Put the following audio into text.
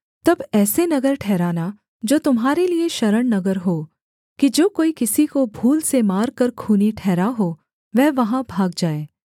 तक ऐसे नगर ठहराना जो तुम्हारे लिये शरणनगर हों कि जो कोई किसी को भूल से मारकर खूनी ठहरा हो वह वहाँ भाग जाए